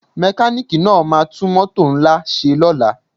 Mekaniki náà ma tún mótò ńlá ṣe lóla